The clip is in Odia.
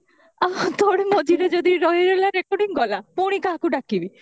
ଥୋଡି ମଝିରେ ଯଦି ରହିଗଲା recording ଗଲା ପୁଣି କାହାକୁ ଡାକିବି